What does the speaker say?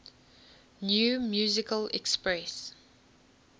new musical express